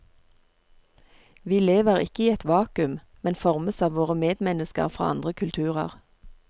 Vi lever ikke i et vakuum, men formes av våre medmennesker fra andre kulturer.